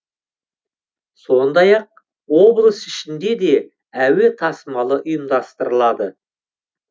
сондай ақ облыс ішінде де әуе тасымалы ұйымдастырылады